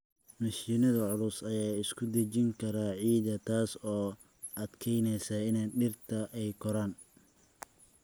Mashiinnada culus ayaa isku dhejin kara ciidda, taas oo adkeynaysa in dhirta ay koraan.